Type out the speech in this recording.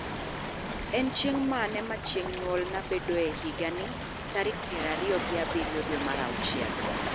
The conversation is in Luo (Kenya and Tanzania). En chieng' mane ma chieng' nyuolna bedoe higa ni tarik piero ariyo gi abiro dwe mar auchiel